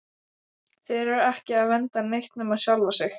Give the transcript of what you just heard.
Þeir eru ekki að vernda neitt nema sjálfa sig!